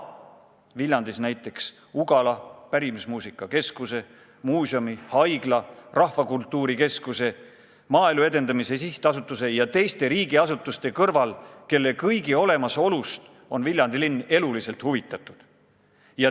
Viljandis on veel näiteks Ugala, Eesti Pärimusmuusika Keskus, muuseum, haigla, Rahvakultuuri Keskus, Maaelu Edendamise Sihtasutus ja teised riigiasutused, kelle kõigi olemasolust on Viljandi linn eluliselt huvitatud.